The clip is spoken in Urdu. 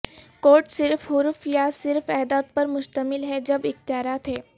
کوڈ صرف حروف یا صرف اعداد پر مشتمل ہے جب اختیارات ہیں